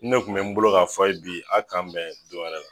Nin ne kun be n bolo ka fɔ a ye bi a k'an bɛn don wɛrɛ la